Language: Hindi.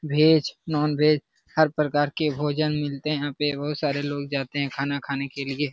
वेज नॉन वेज हर प्रकार से भोजन मिलते है पे वो सारे लोग जाते हैं खाना खाने के लिए ।